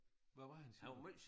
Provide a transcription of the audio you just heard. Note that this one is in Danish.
Hvad var han siger du